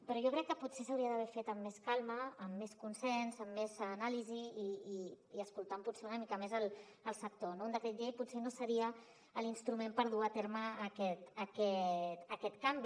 però jo crec que potser s’hauria d’haver fet amb més calma amb més consens amb més anàlisi i escoltant potser una mica més el sector no un decret llei potser no seria l’instrument per dur a terme aquest canvi